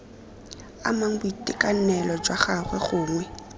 amang boitekanelo jwa gagwe gongwe